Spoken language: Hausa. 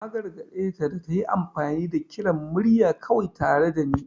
Na gargade ta da ta yi amfani da kiran murya kawai tare da ni.